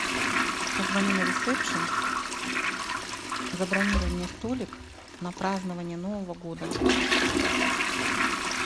позвони на ресепшен забронируй мне столик на празднование нового года